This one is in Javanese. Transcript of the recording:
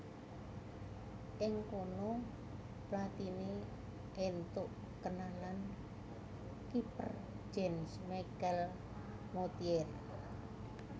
Ing kono Platini éntuk kenalan kiper Jean Michel Moutier